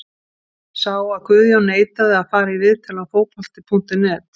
Sá að Guðjón neitaði að fara í viðtal hjá Fótbolti.net.